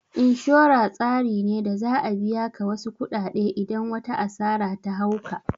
Inshora tsari ne da za'a biya ka wasu kuɗaɗe idan wata asara ta hau ka